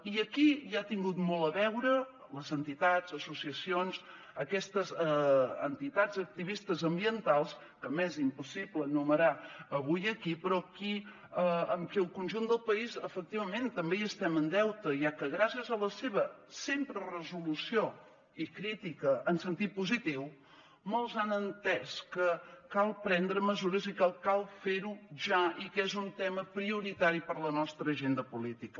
i aquí hi han tingut molt a veure les entitats associacions aquestes entitats activistes ambientals que m’és impossible enumerar avui aquí però amb qui el conjunt del país efectivament també hi estem en deute ja que gràcies a la seva sempre resolució i crítica en sentit positiu molts han entès que cal prendre mesures i que cal fer ho ja i que és un tema prioritari per a la nostra agenda política